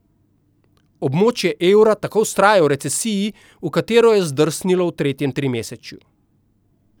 Območje evra tako vztraja v recesiji, v katero je zdrsnilo v tretjem trimesečju.